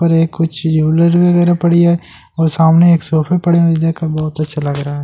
ये कुछ यूनिर बगैरा पड़ी है और सामने एक सोफे पड़े हुए है और ये देख कर बहुत अच्‍छा लग रहा है ।